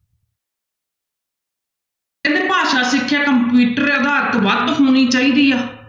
ਕਹਿੰਦੇ ਭਾਸ਼ਾ ਸਿੱਖਿਆ ਵੱਧ ਹੋਣੀ ਚਾਹੀਦੀ ਹੈ।